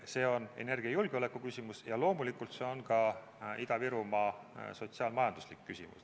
See on energiajulgeoleku küsimus ja loomulikult on see ka Ida-Virumaa sotsiaal-majanduslik küsimus.